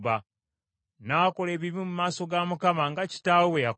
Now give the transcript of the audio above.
N’akola ebibi mu maaso ga Mukama , nga kitaawe bwe yakola.